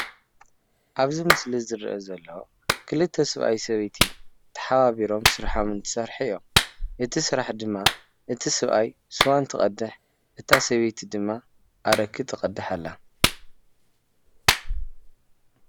ኣብዚ ምስሊ ዝረአ ዘሎ ክልተ ሰብኣይን ሰበይትን ተሓባቢሮም ስርሖም እትሰርሑ እዩም፡፡ እቲ ስራሕ ድማ እቲ ሰብኣይ ሱዋ እንትቀድሕ እታ ሰበይቲ ድማ ኣረቂ ትቀድሕ ኣላ፡፡